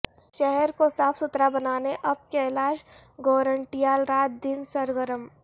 شہر کو صاف ستھرا بنانے اب کیلاش گورنٹیال رات دن سر گرم